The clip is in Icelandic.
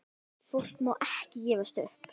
Fólk má ekki gefast upp.